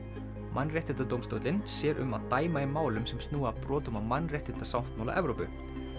Mannréttindadómstóllinn sér um að dæma í málum sem snúa að brotum á mannréttindasáttmála Evrópu